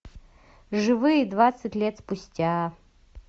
живые двадцать лет спустя